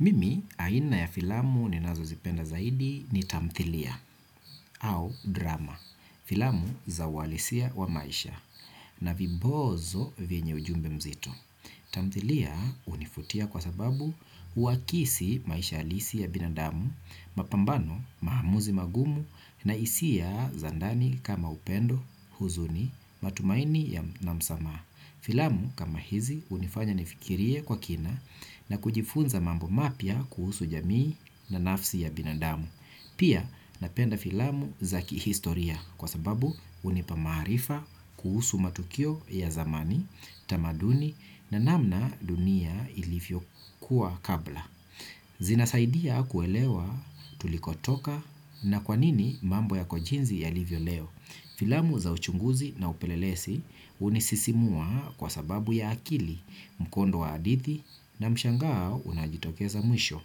Mimi aina ya filamu ninazo zipenda zaidi ni tamthilia au drama, filamu za uhalisia wa maisha na vibonzo venye ujumbe mzitu. Tamthilia hunivutia kwa sababu huakisi maisha halisi ya binadamu, mapambano maamuzi magumu na hisia za ndani kama upendo, huzuni, matumaini na msamaha. Filamu kama hizi hunifanya nifikirie kwa kina na kujifunza mambo mapya kuhusu jamii na nafsi ya binadamu. Pia napenda filamu za kihistoria kwa sababu hunipa maarifa kuhusu matukio ya zamani, tamaduni na namna dunia ilivyokuwa kabla. Zinasaidia kuelewa tulikotoka na kwanini mambo yako jinsi yalivyo leo. Filamu za uchunguzi na upelelezi hunisisimua kwa sababu ya akili, mkondo wa hadithi na mshangao unaojitokeza mwisho.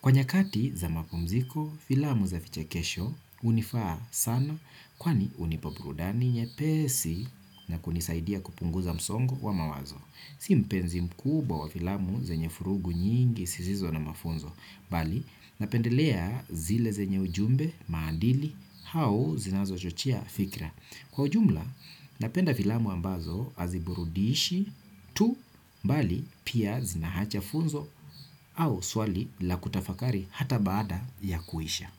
Kwa nyakati za mapumziko, filamu za vichekesho hunifaa sana kwani hunipa burudani nyepesi na kunisaidia kupunguza msongo wa mawazo. Si mpenzi mkuba wa filamu zenye vurugu nyingi, sisizo na mafunzo. Bali, napendelea zile zenye ujumbe, maandili, au zinazochochea fikra. Kwa ujumla, napenda filamu ambazo haziburudishi tu, bali, pia zinaacha funzo au swali la kutafakari hata baada ya kuisha.